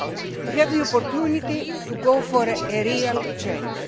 You have the opportunity to go for a real change.